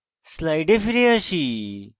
slides ফিরে যাই